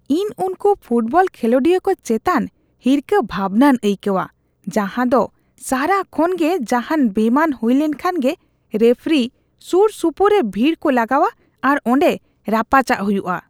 ᱤᱧ ᱩᱱᱠᱩ ᱯᱷᱳᱴᱵᱚᱞ ᱠᱷᱮᱞᱳᱰᱤᱭᱟᱹ ᱠᱚ ᱪᱮᱛᱟᱱ ᱦᱤᱨᱠᱟᱹ ᱵᱷᱟᱵᱱᱟᱧ ᱟᱹᱭᱠᱟᱹᱣᱟ ᱡᱟᱦᱟᱸ ᱫᱚ ᱥᱟᱨᱟ ᱠᱷᱚᱱᱜᱮ ᱡᱟᱦᱟᱱ ᱵᱮᱢᱟᱱ ᱦᱩᱭ ᱞᱮᱱᱠᱷᱟᱱ ᱜᱮ ᱨᱮᱯᱷᱨᱤ ᱥᱩᱨᱼᱥᱩᱯᱩᱨ ᱨᱮ ᱵᱷᱤᱲ ᱠᱚ ᱞᱟᱜᱟᱣᱟ ᱟᱨ ᱚᱸᱰᱮ ᱨᱟᱯᱟᱪᱟᱜ ᱦᱩᱭᱩᱜᱼᱟ ᱾